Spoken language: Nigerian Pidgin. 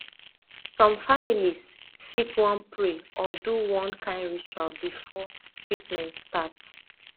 some families fit wan pray or do one kind ritual before treatment start